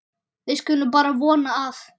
Við skulum bara vona að